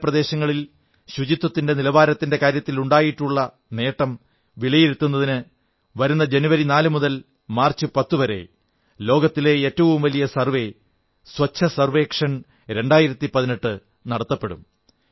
നഗരപ്രദേശങ്ങളിൽ ശുചിത്വത്തിന്റെ നിലവാരത്തിന്റെ കാര്യത്തിൽ ഉണ്ടാക്കിയിട്ടുള്ള നേട്ടം വിലയിരുത്തുന്നതിന് വരുന്ന ജനുവരി 4 നും മാർച്ച് 10 നുമിടയിൽ ലോകത്തിലെ ഏറ്റവും വലിയ സർവ്വേ സ്വച്ഛ സർവ്വേക്ഷൺ 2018 നടത്തപ്പെടും